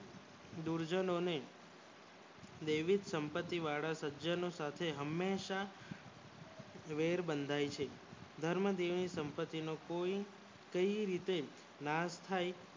દુરજજો ને વૈવિધ સંપત્તિ વાળાસજ્જનો સાથે હંમેશા વેર બંધાય છે ધર્મ ગિલિન સંપત્તિ ને પુણ્ય રીતે લાભ થાય